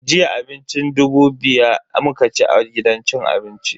Jiya abincin dubu biya muka ci a gidan cin abincin.